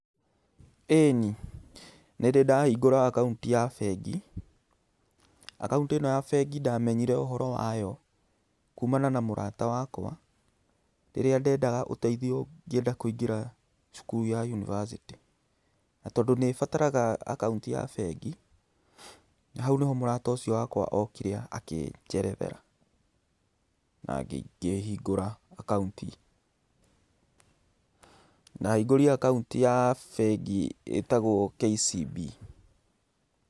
Ĩni, nĩndĩ ndahingũra akaũnti ya bengi. Akaũnti ĩno ya bengi ndamenyire ũhoro wayo kumana na mũrata wakwa rĩrĩa ndendaga ũteithio ngĩenda kũingĩra cukuru ya yunibacĩtĩ. Na tondũ nĩĩbataraga akaũnti ya bengi, hau nĩho mũrata ũcio wakwa okire akĩnjerethera. Na ngĩhingũra akaunti. Ndahingũrire akaũnti ya bengi itagwo KCB.